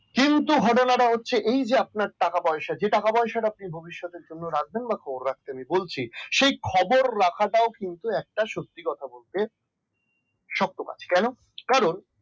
কিন্তু ঘটনাটা হচ্ছে এই যে আপনার টাকা পয়সা যেটা আপনি ভবিষ্যতের জন্য রাখবেন বা খবর রাখতে আমি বলছি সেই খবর রাখাটাও একটা সত্যি কথা বলতে শোক প্রকাশ কেন কারন